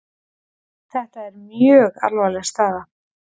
Þetta er mjög alvarleg staða